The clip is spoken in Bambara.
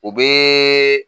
O bɛ